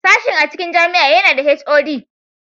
Sashen a cikin jami'a yana da (HOD)